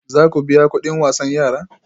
Za ku biya kudin wasan yara?